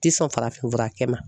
Ti sɔn farafin furakɛ ma